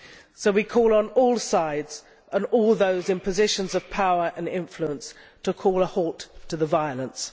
So we call on all sides and all those in positions of power and influence to call a halt to the violence.